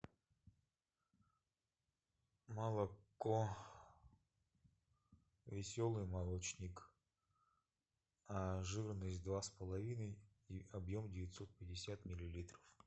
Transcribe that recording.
молоко веселый молочник жирность два с половиной и объем девятьсот пятьдесят миллилитров